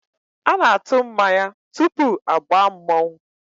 A na-atụ mmanya tupu agbaa mmọnwụ